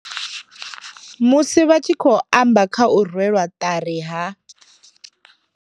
Musi vha tshi khou amba kha u rwelwa ṱari ha.